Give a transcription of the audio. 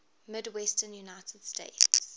midwestern united states